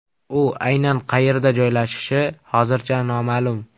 U aynan qayerda joylashishi hozircha noma’lum.